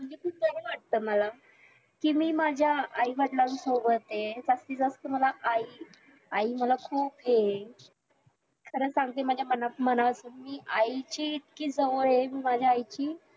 वाटत मला कि मी माझ्या आईवडिलांसोबत आहे जास्तीजास्त मला आई आई मला खुप हे आहे खरं सांगते माझ्या मनात मी आईची इतकी जवळ हाय कि मी माझ्या आईची